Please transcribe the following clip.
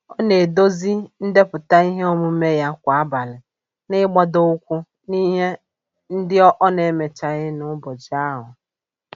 Ọ na-edozi ndepụta ihe omume ya kwa abalị, n'igbadoụkwụ n'ihe ndị ọ n'emechaghị n'ụbọchị ahụ.